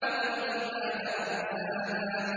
وَالْجِبَالَ أَرْسَاهَا